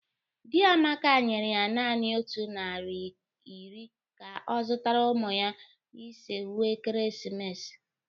Di Amaka nyere ya nanị nnụ naịra iri ka ọ zụtara ụmụ ha ise uwe ekeresimesi